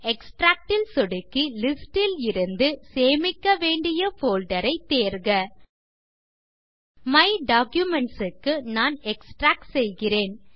extract ல் சொடுக்கி list ல் இருந்து சேமிக்கவேண்டிய போல்டர் ஐ தேர்க மை டாக்குமென்ட்ஸ் க்கு நான் எக்ஸ்ட்ராக்ட் செய்கிறேன்